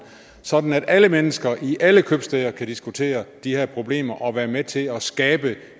sådan at alle mennesker i alle købstæder kan diskutere de her problemer og være med til at skabe